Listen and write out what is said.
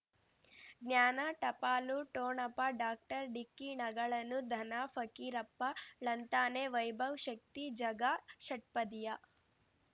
ಜ್ಞಾನ ಟಪಾಲು ಠೊಣಪ ಡಾಕ್ಟರ್ ಢಿಕ್ಕಿ ಣಗಳನು ಧನ ಫಕೀರಪ್ಪ ಳಂತಾನೆ ವೈಭವ್ ಶಕ್ತಿ ಝಗಾ ಷಟ್ಪದಿಯ